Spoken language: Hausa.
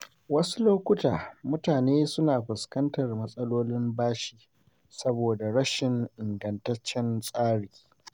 Wasu lokuta, mutane suna fuskantar matsalolin bashi saboda rashin ingantaccen tsari.